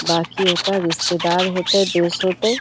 बाकियों का रिश्तेदार होएते दोस्त होएते।